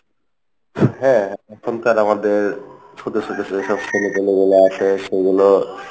হ্যাঁ, এখনকার আমাদের ছোট ছোট যেসব ছেলে পিলে গুলো আছে সেগুলো,